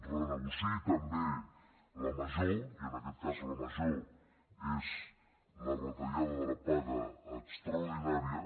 renegociï també la major i en aquest cas la major és la retallada de la paga extraordinària